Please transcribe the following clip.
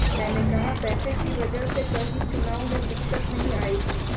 मैंने कहा पैसे की वजह से कहीं चुनाव में दिक्क्त नहीं आएगी